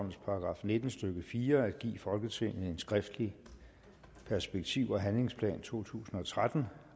§ nitten stykke fire at give folketinget en skriftlig perspektiv og handlingsplan totusinde og trettende